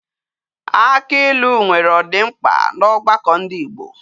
Aki ilu nwere odimkpa na ogbako ndi Igbo